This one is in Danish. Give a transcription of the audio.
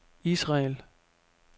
Israel